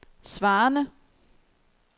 svarende